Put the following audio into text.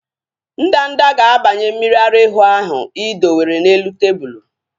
Ndanda ga-abanye mmiri ara ehi ahu ị dowere n'elu tebụlu